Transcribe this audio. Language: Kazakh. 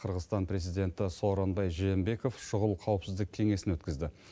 қырғызстан президенті сооронбай жээнбеков шұғыл қауіпсіздік кеңесін өткізді